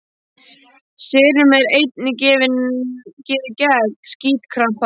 Serum er einnig gefið gegn stífkrampa.